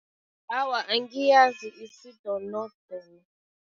Awa, angiyazi isidonodono.